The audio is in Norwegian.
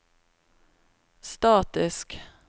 statisk